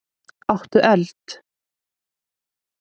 Áttu eld?